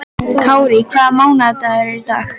Kárí, hvaða mánaðardagur er í dag?